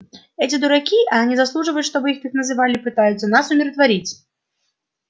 эти дураки а они заслуживают чтобы их так называли пытаются нас умиротворить